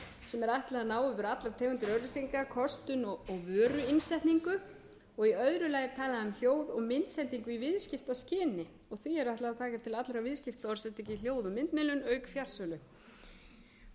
sem er ætlað að ná yfir allar tegundir auglýsinga kostun og vöruinnsetningu og í öðru lagi er talað um hljóð og myndsendingu í viðskiptaskyni og því er ætlað að taka til allra viðskiptaorðsendinga í hljóð og myndmiðlun auk fjarsölu bráðlega verða